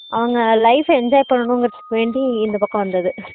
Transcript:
அவங்க life enjoy பண்றதுக்கு வேண்டி இந்த பக்கம் வந்தது